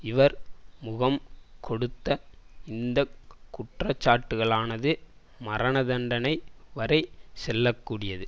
இவர் முகம் கொடுத்த இந்த குற்றச்சாட்டுகளானது மரணதண்டனை வரை செல்ல கூடியது